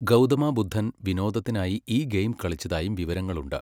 ഗൗതമ ബുദ്ധൻ വിനോദത്തിനായി ഈ ഗെയിം കളിച്ചതായും വിവരങ്ങളുണ്ട്.